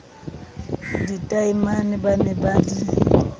ditaemane ba ne ba di